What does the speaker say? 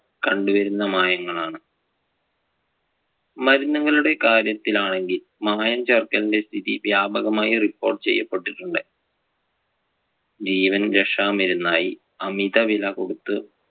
കണ്ടുവരുന്ന മായങ്ങൾ ആണ്. മരുന്നുകളുടെ കാര്യത്തിൽ ആണെങ്കിൽ മായം ചേർക്കലിന്‍റെ സ്ഥിതി വ്യാപകമായി report ചെയ്യപ്പെട്ടിട്ടുണ്ട്. ജീവൻരക്ഷാ മരുന്നായി അമിത വില കൊടുത്ത്